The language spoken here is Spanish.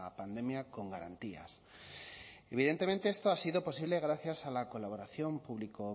pandemia con garantías y evidentemente esto ha sido posible gracias a la colaboración público